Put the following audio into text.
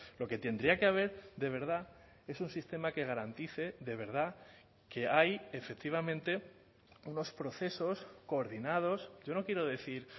lo que tendría que haber de verdad es un sistema que garantice de verdad que hay efectivamente unos procesos coordinados yo no quiero decir